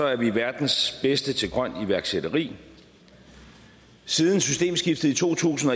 er vi verdens bedste til grønt iværksætteri siden systemskiftet i to tusind